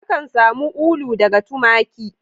Akan samu ulu daga tumaki.